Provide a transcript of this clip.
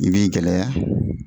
I b'i gɛlɛya